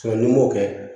n'i m'o kɛ